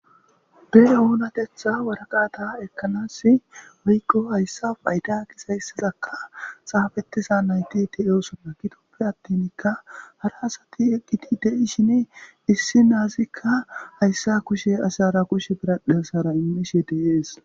Be oonatetha waraqata ekkanas weykko hayssa fayda kis hayssazakka xaafettiza nayti ti7oosonna kitoppe attinkka hara asati eqqidi dei shine issi naazikka hayssa kushe asi hara kushe biradhesara immishe deees.